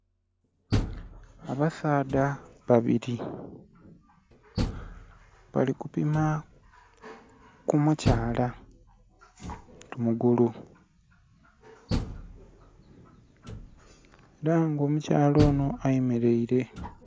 Abasaadha babiri bali kupima ku mukyala ku mugulu era nga omukyala onho ayemereire.